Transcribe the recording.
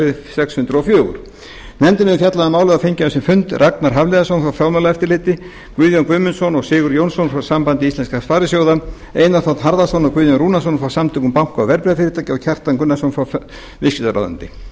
þingskjali sex hundruð og fjögur nefndin hefur fjallað um málið og fengið á sinn fund ragnar hafliðason frá fjármálaeftirliti guðjón guðmundsson og sigurð jónsson frá sambandi íslenskra sparisjóða einar þ harðarson og guðjón rúnarsson frá samtökum banka og verðbréfafyrirtækja og kjartan gunnarsson frá viðskiptaráðuneyti með